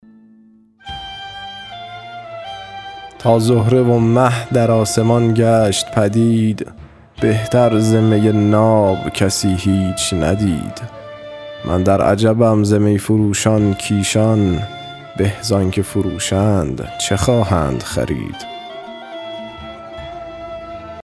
تا زهره و مه در آسمان گشت پدید بهتر ز می ناب کسی هیچ ندید من در عجبم ز می فروشان کایشان به زآنچه فروشند چه خواهند خرید